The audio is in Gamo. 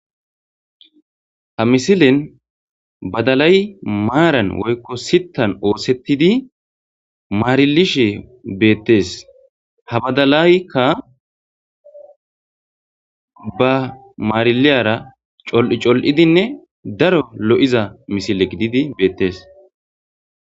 Ha misilean Badalay maran woyko sitan osetidi marilishe betese ha Badalaykka ba marilyira colu colidinne Daro lo'iza Misile gididi betese